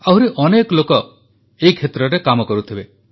ଆହୁରି ଅନେକ ଲୋକ ଏହି କ୍ଷେତ୍ରରେ କାମ କରୁଥିବେ